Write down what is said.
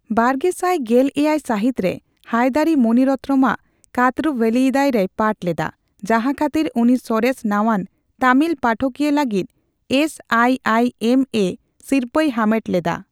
ᱵᱟᱨᱜᱮᱥᱟᱭ ᱜᱮᱞ ᱮᱭᱟᱭ ᱥᱟᱹᱦᱤᱛᱨᱮ, ᱦᱟᱭᱫᱟᱨᱤ ᱢᱚᱱᱤ ᱨᱚᱛᱱᱚᱢ ᱟᱜ ᱠᱟᱛᱚᱨᱩ ᱵᱷᱮᱞᱤᱭᱤᱫᱟᱭ ᱨᱮᱭ ᱯᱟᱴᱷ ᱞᱮᱫᱟ, ᱡᱟᱦᱟᱸ ᱠᱷᱟᱹᱛᱤᱨ ᱩᱱᱤ ᱥᱚᱨᱮᱥ ᱱᱟᱣᱟᱱ ᱛᱟᱹᱢᱤᱞ ᱯᱟᱴᱷᱚᱠᱤᱭᱟᱹ ᱞᱟᱹᱜᱤᱫ ᱮᱥᱹᱟᱭᱹᱟᱭᱹᱮᱢ ᱮ ᱥᱤᱨᱯᱟᱹᱭ ᱦᱟᱢᱮᱴ ᱞᱮᱫᱟ ᱾